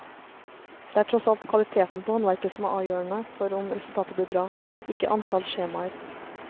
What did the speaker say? Det er tross alt kvaliteten på håndverket som er avgjørende for om resultatet blir bra, ikke antallet skjemaer.